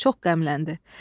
Çox qəmləndi.